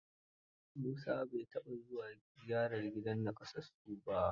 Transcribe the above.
Musa bai taɓa zuwa ziyara gidan nakasassu ba.